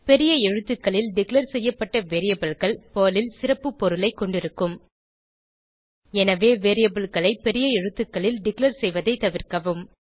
பெரிய எழுத்துகளில் டிக்ளேர் செய்யப்பட்ட Variableகள் பெர்ல் ல் சிறப்பு பொருளைக் கொண்டிருக்கும் எனவே variableகளை பெரிய எழுத்துக்களில் டிக்ளேர் செய்வதை தவிர்க்கவும்